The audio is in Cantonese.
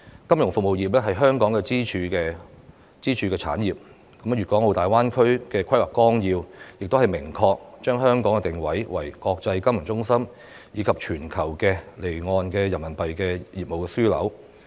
金融服務業是香港的支柱產業，《粵港澳大灣區發展規劃綱要》亦明確地把香港定位為國際金融中心及全球離岸人民幣業務樞紐。